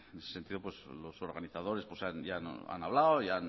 en ese sentido pues los organizadores ya han hablado y